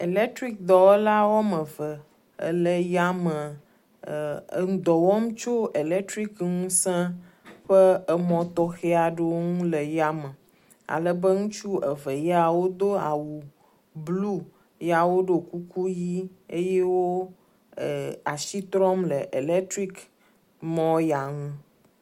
Electrik dɔwɔla woame eve wole yame le dɔ wɔm tso electric ŋusẽ ƒe emɔ tɔxe aɖewo ŋu le yame alebe ŋutsu eve yawo do awu blu ya wodo kuku yi eye wo e…asi trɔm le electric mɔ ya ŋu.